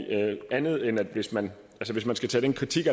andet end at hvis man hvis man skal tage den kritik